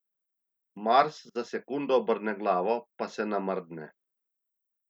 Mars za sekundo obrne glavo pa se namrdne.